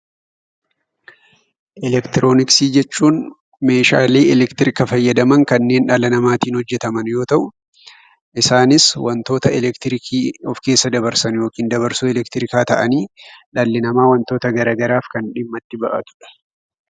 Elektirooniksii jechuun meeshaalee elektirika fayyadaman kanneen dhala namaatiin hojjetaman yoo ta'u, isaanis wantoota elektirikii of keessa dabarsan yookiin dabarsoo elektirikaa ta'anii, dhalli namaa wantoota garaa garaaf dhimma kan itti bahatudha.